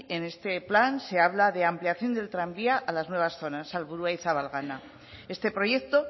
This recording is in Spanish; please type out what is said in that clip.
en este plan se habla de ampliación del tranvía a las nuevas zonas salvo este proyecto